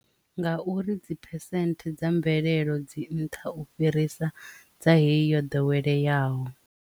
Ngauri dzi phesente dza mvelelo dzi nṱha u fhirisa dza hei yo ḓoweleyaho.